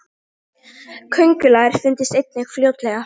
köngulær fundust einnig fljótlega